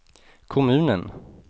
kommunen